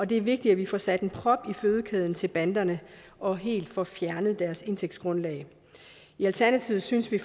det er vigtigt at vi får sat en prop i fødekæden til banderne og helt får fjernet deres indtægtsgrundlag i alternativet synes vi